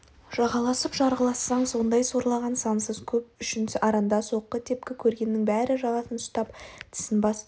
жағаласып жарғылассаң сондай сорлаған сансыз көп үшін аранда соққы-тепкі көргеннің бәрі жағасын ұстап тісін басты ғой